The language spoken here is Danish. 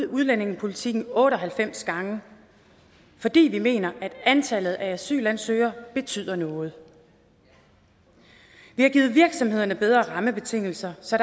udlændingepolitikken otte og halvfems gange fordi vi mener at antallet af asylansøgere betyder noget vi har givet virksomhederne bedre rammebetingelser så